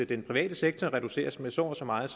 den private sektor reduceres med så og så meget